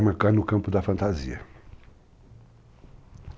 cai no campo da fantasia.